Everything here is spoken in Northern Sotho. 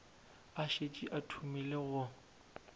a šetše a thomile go